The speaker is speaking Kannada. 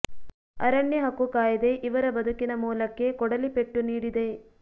ಅರಣ್ಯ ಹಕ್ಕು ಕಾಯ್ದೆ ಇವರ ಬದುಕಿನ ಮೂಲಕ್ಕೇ ಕೊಡಲಿ ಪೆಟ್ಟು ನೀಡಿದೆ